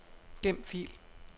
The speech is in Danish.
Gem fil.